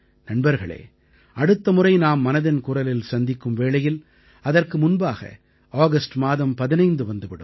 நண்பர்களே அடுத்த முறை நாம் மனதின் குரலில் சந்திக்கும் வேளையில் அதற்கு முன்பாக ஆகஸ்ட் மாதம் 15 வந்து விடும்